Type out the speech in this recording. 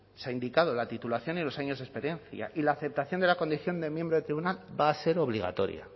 se ha indicado la titulación y los años de experiencia y la aceptación de la condición de miembro del tribunal va a ser obligatoria